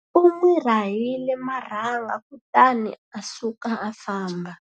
U n'wi rahile marhanga kutani a suka a famba.